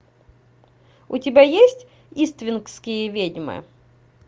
у тебя есть иствикские ведьмы